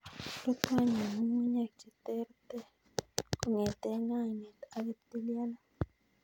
" Rutu any en ng'ung'unyek cheterterch kong'eten ng'ainet ak ptilialit.